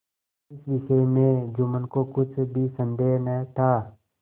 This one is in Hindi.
इस विषय में जुम्मन को कुछ भी संदेह न था